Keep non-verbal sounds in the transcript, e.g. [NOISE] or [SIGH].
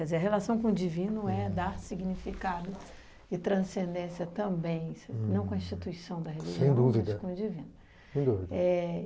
[UNINTELLIGIBLE] a relação com o divino é dar significado e transcendência também, não com a instituição da religião... Sem dúvida. Mas com o divino. Sem dúvida. É...